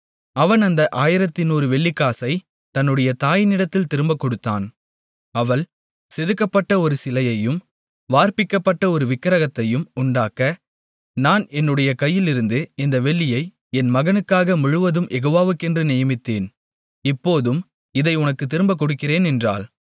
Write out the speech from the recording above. அவன் அந்த 1100 வெள்ளிக்காசைத் தன்னுடைய தாயினிடத்தில் திரும்பக் கொடுத்தான் அவள் செதுக்கப்பட்ட ஒரு சிலையையும் வார்ப்பிக்கப்பட்ட ஒரு விக்கிரகத்தையும் உண்டாக்க நான் என்னுடைய கையிலிருந்த இந்த வெள்ளியை என் மகனுக்காக முழுவதும் யெகோவாக்கென்று நியமித்தேன் இப்போதும் இதை உனக்குத் திரும்பக் கொடுக்கிறேன் என்றாள்